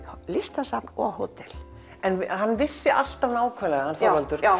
listasafn og hótel en hann vissi alltaf hann Þorvaldur